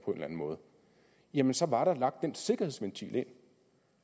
anden måde jamen så var der lagt den sikkerhedsventil ind